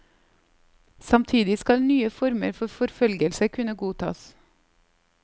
Samtidig skal nye former for forfølgelse kunne godtas.